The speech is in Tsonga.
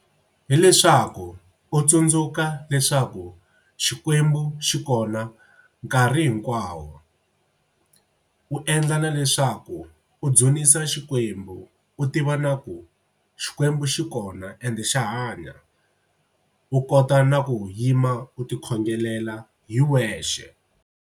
Hileswaku u tsundzuka leswaku Xikwembu xi kona nkarhi hinkwawo. U endla na leswaku u dzunisa Xikwembu u tiva na ku Xikwembu xi kona ende xa hanya. U kota na ku yima u tikhongelela hi wexe.